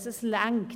Es reicht.